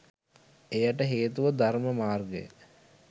එයට හේතුව ධර්ම මාර්ගය